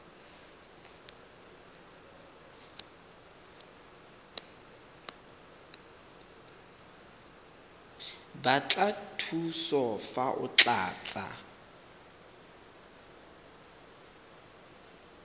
batla thuso fa o tlatsa